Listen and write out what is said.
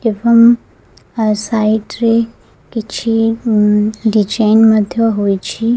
ଏବଂ ଆ ସାଇଟ୍ ରେ କିଛି ଡିଜାଇନ୍ ମଧ୍ୟ ହେଇଚି ।